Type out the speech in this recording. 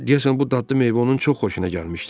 Deyəsən bu dadlı meyvə onun çox xoşuna gəlmişdi.